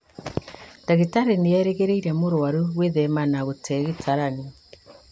Ndagĩtarĩ nĩerĩgĩrĩire mũrwaru gwĩthema na gũte gĩtaranio